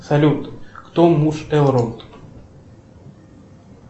салют кто муж эврот